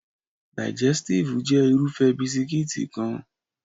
Digẹstive jẹ́ Irúfẹ́ bisikíìtì kan